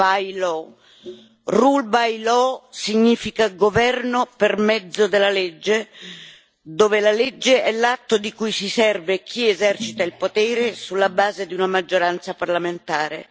Rule by law significa governo per mezzo della legge, dove la legge è l'atto di cui si serve chi esercita il potere sulla base di una maggioranza parlamentare.